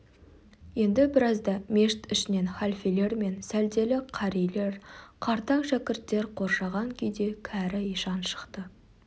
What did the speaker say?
енді біразда мешіт ішінен халфелер мен сәлделі қарилер қартаң шәкірттер қоршаған күйде кәрі ишан шықты